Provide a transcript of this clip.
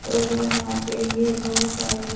और यहाँ पे ये बहोत सारे--